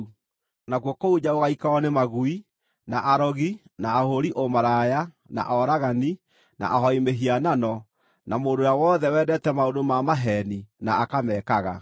Nakuo kũu nja gũgaikarwo nĩ magui, na arogi, na ahũũri ũmaraya, na oragani, na ahooi mĩhianano, na mũndũ ũrĩa wothe wendete maũndũ ma maheeni na akamekaga.